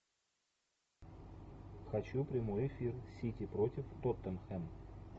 хочу прямой эфир сити против тоттенхэм